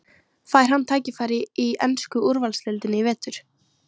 Fær hann tækifæri í ensku úrvalsdeildinni í vetur?